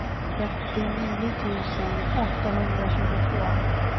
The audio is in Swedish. trettionio tusen åttahundratjugotvå